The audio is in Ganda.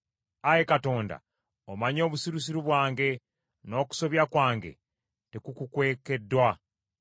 Ayi Katonda, omanyi obusirusiru bwange, n’okusobya kwange tekukukwekeddwa.